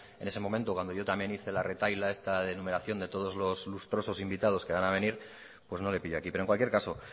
en ese momento cuando yo también hice la retahíla esta de enumeración de todos los lustrosos invitados que van a venir pues no le pilló aquí pero en cualquier caso